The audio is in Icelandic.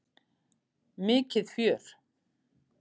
Mikið fjör!